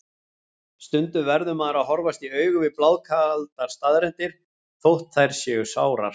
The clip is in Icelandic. Stundum verður maður að horfast í augu við blákaldar staðreyndir, þótt þær séu sárar.